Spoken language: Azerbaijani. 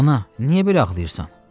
Ana, niyə belə ağlayırsan?